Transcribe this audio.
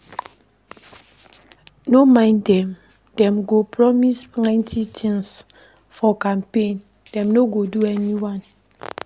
No mind dem, dem go promise plenty tins for campaign, dem no go do anyone.